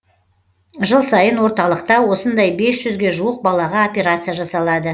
жыл сайын орталықта осындай бес жүзге жуық балаға операция жасалады